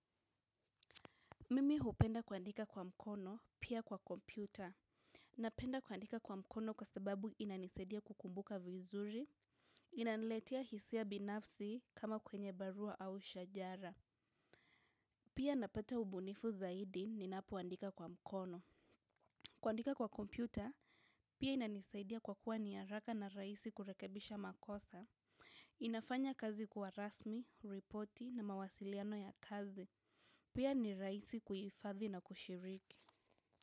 Mimi hupenda kuandika kwa mkono, pia kwa kompyuta. Ninapenda kuandika kwa mkono kwa sababu inanisaidia kukumbuka vizuri. Inaniletea hisia binafsi kama kwenye barua au shajara. Pia ninapata ubunifu zaidi ninapoandika kwa mkono. Kuandika kwa kompyuta, pia inanisaidia kwa kuwa ni haraka na rahisi kurekebisha makosa. Inafanya kazi kuwa rasmi, ripoti na mawasiliano ya kazi. Pia ni rahisi kuhifadhi na kushiriki.